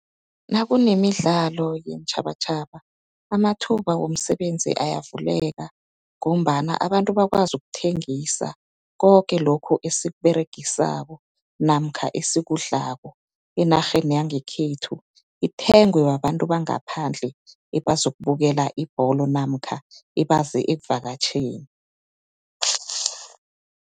Nakunemidlalo yeentjhabatjhaba amathuba womsebenzi ayavuleka ngombana abantu bakwazi ukuthengisa koke lokhu esikuberegisako namkha esikudlako enarheni yangekhethu, ithengwe babantu bangaphandle ebazokubukela ibholo namkha ebaze ekuvakatjheni.